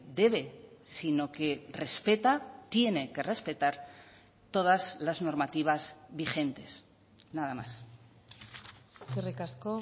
debe si no que respeta tiene que respetar todas las normativas vigentes nada más eskerrik asko